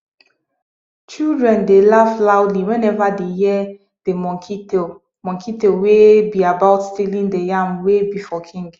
children dey laugh loudly whenever dey hear de monkey tale monkey tale wey be about stealing de yam wey be for king